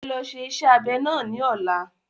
E lọ ṣe iṣẹ́ abẹ náà ní ọ̀la.